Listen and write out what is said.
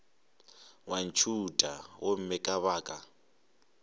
wa ntšhutha gomme ka baka